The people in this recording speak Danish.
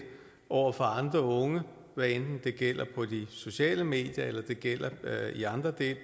over for andre unge hvad enten det gælder på de sociale medier eller det gælder